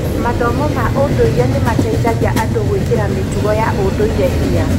Mathomo ma ũndũire nĩ mateithagia andũ gwĩkĩra mĩtugo ya ũndũire hinya.